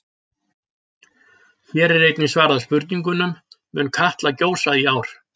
Hér er einnig svarað spurningunum: Mun Katla gjósa í ár?